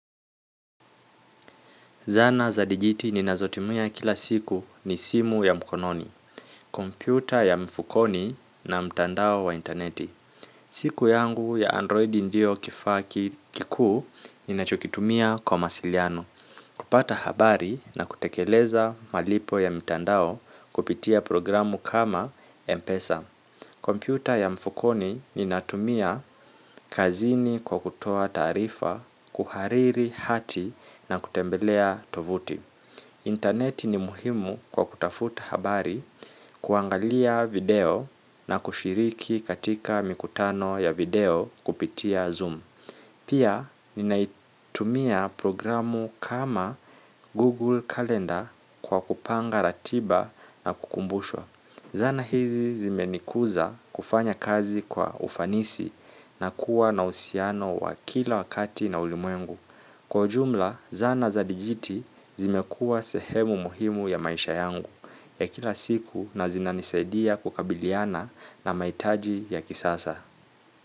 Zana za digiti ninazotumia kila siku ni simu ya mkononi, kompyuta ya mfukoni na mtandao wa interneti. Siku yangu ya Android ndio kifaa kikuu ninachokitumia kwa mawasiliano. Kupata habari na kutekeleza malipo ya mitandao kupitia programu kama Mpesa. Kompyuta ya mfukoni ninatumia kazini kwa kutoa taarifa kuhariri hati na kutembelea tovuti. Interneti ni muhimu kwa kutafuta habari kuangalia video na kushiriki katika mikutano ya video kupitia Zoom. Pia ninaitumia programu kama Google Calendar kwa kupanga ratiba na kukumbushwa. Zana hizi zimenikuza kufanya kazi kwa ufanisi na kuwa na uhusiano wa kila wakati na ulimwengu. Kwa ujumla, zana za digiti zimekuwa sehemu muhimu ya maisha yangu ya kila siku na zinanisaidia kukabiliana na mahitaji ya kisasa.